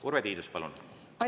Urve Tiidus, palun!